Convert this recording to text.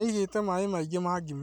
Nĩ aigĩte maĩ maingĩ ma ngima